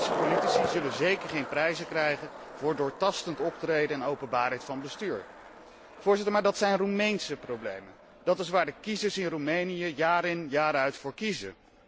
De Roemeense politici zullen zeker geen prijzen krijgen voor doortastend optreden en openbaarheid van bestuur. Maar dat zijn Roemeense problemen, dat is waar de kiezers in Roemenië jaar in jaar uit voor kiezen.